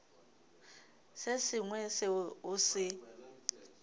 se sengwe seo o se